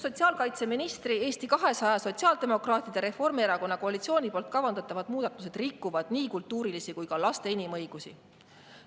Sotsiaalkaitseministri ning Eesti 200, sotsiaaldemokraatide ja Reformierakonna koalitsiooni kavandatavad muudatused rikuvad nii kultuurilisi kui ka laste inimõigusi.